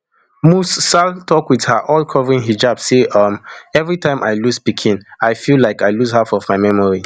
musrsal tok wit her all covering hijab say um everitime i lose pikin i feel like i lose half of my memory